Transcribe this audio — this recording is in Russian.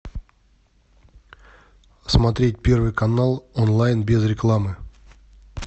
смотреть первый канал онлайн без рекламы